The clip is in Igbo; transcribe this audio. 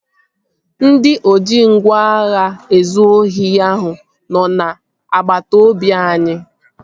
Ndị oji ngwá agha ezụ ohi ahụ nọ n'agbata obi anyị